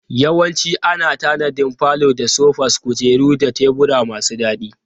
Yawanci ana tanadin falo da sofas, kujeru da tebura masu daɗi.